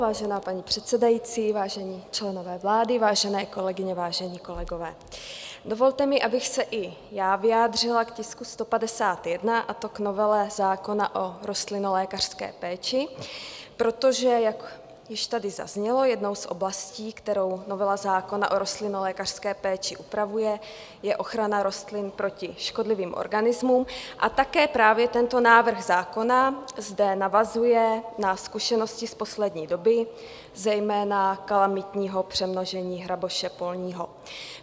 Vážená paní předsedající, vážení členové vlády, vážené kolegyně, vážení kolegové, dovolte mi, abych se i já vyjádřila k tisku 151, a to k novele zákona o rostlinolékařské péči, protože jak již tady zaznělo, jednou z oblastí, kterou novela zákona o rostlinolékařské péči upravuje, je ochrana rostlin proti škodlivým organismům, a také právě tento návrh zákona zde navazuje na zkušenosti z poslední doby, zejména kalamitního přemnožení hraboše polního.